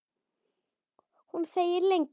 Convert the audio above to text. Hún þegir lengi.